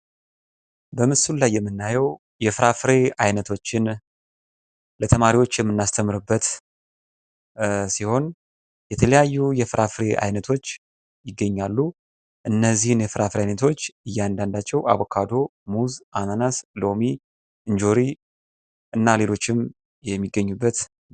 በምስሉ ላይ የምናየው የፍራፍሬ አይነቶችን ለተማሪዎች የምናስተምርበት ሲሆን የተለያዩ የፍራፍሬ አይነቶች ይገኛሉ። እነዚህን የፍራፍሬ አይነቶች እያንዳንዳቸው አቮካዶ ሙዝ አናናስ ሎሚ እንጆሪ እና ሌሎችም የሚገኙበት።